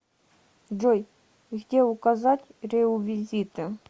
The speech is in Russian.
джой где указать реувизиты